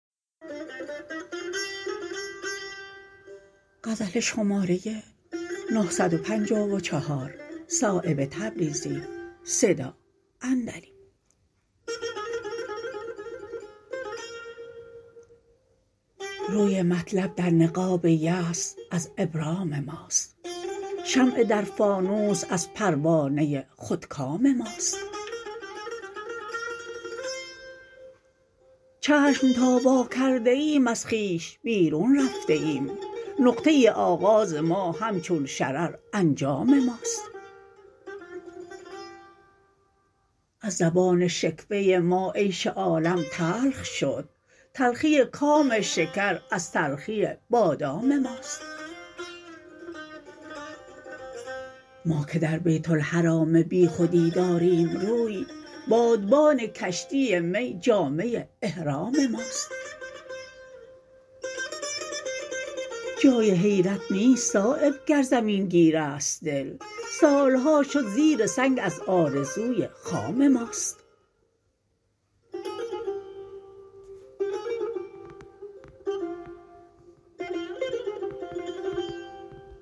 روی مطلب در نقاب یأس از ابرام ماست شمع در فانوس از پروانه خودکام ماست چشم تا وا کرده ایم از خویش بیرون رفته ایم نقطه آغاز ما همچون شرر انجام ماست از زبان شکوه ما عیش عالم تلخ شد تلخی کام شکر از تلخی بادام ماست ما که در بیت الحرام بیخودی داریم روی بادبان کشتی می جامه احرام ماست جای حیرت نیست صایب گر زمین گیرست دل سالها شد زیر سنگ از آرزوی خام ماست